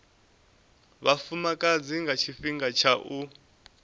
vhafumakadzi nga tshifhinga tsha u